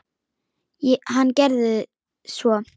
Hann gerði svo.